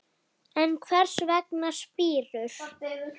En hvers vegna spírur?